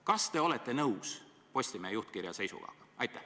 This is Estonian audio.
Kas te olete nõus Postimehe juhtkirja seisukohaga?